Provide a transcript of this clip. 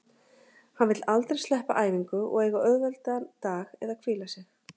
Hann vill aldrei sleppa æfingu og eiga auðveldan dag eða hvíla sig.